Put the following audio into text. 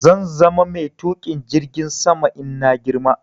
Zan zama mai Tuƙin jirgin sama in na girma